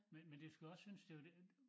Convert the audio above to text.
Men men det skal også synes det jo lidt